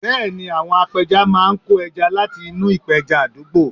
Bẹ́ẹ̀ ni, àwọn apẹja máa ń kó ẹja láti inú ìpẹja àdúgbò